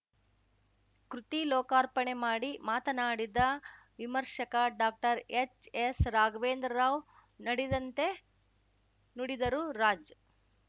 ಕೃತಿ ಲೋಕಾರ್ಪಣೆ ಮಾಡಿ ಮಾತನಾಡಿದ ವಿಮರ್ಶಕ ಡಾಕ್ಟರ್ಎಚ್‌ಎಸ್‌ರಾಘ್ವೇಂದ್ರ ರಾವ್‌ ನಡೆದಂತೆ ನುಡಿದರು ರಾಜ್‌